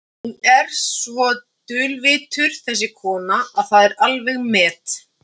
Hún er svo dulvitur þessi kona að það er alveg met.